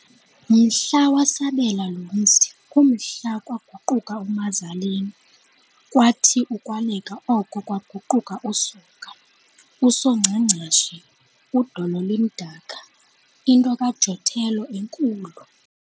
Mhla wasabela lo mzi, kumhla kwaguquka uMazaleni, kwathi ukwaleka oko kwaguquka uSoga, "USongcangcashe, udolo limdaka," into kaJotello enkulu.